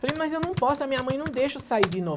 Falei, mas eu não posso, a minha mãe não deixa eu sair de novo.